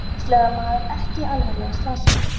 Vélsleðamaður ekki alvarlega slasaður